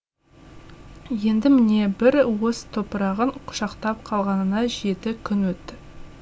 енді міне бір уыс топырағын құшақтап қалғанына жеті күн өтті